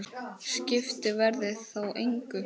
Skipti veðrið þá engu.